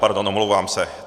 Pardon, omlouvám se.